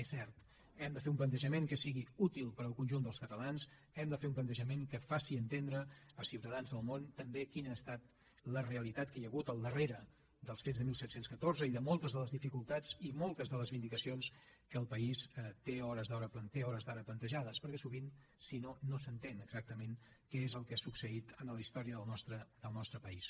és cert hem de fer un plantejament que sigui útil per al conjunt dels catalans hem de fer un plantejament que faci entendre als ciutadans del món també quina ha estat la realitat que hi ha hagut al darrere dels fets disset deu quatre i de moltes de les dificultats i moltes de les vindicacions que el país té a hores d’ara plantejades perquè sovint si no no s’entén exactament què és el que ha succeït en la història del nostre país